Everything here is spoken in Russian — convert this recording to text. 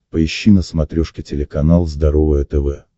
поищи на смотрешке телеканал здоровое тв